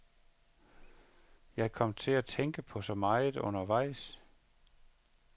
Jeg kom til at tænke på så meget undervejs.